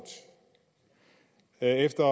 efter